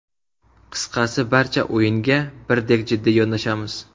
Qisqasi, barcha o‘yinga birdek jiddiy yondashamiz.